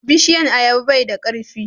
bishiyan ayaba bai da karfi